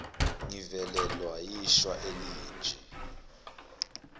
ngivelelwa yishwa elinje